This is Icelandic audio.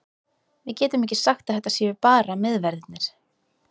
Við getum ekki sagt að þetta séu bara miðverðirnir.